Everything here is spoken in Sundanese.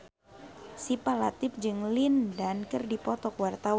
Syifa Latief jeung Lin Dan keur dipoto ku wartawan